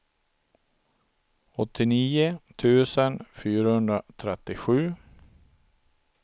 åttionio tusen fyrahundratrettiosju